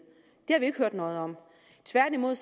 det har vi jo ikke hørt noget om tværtimod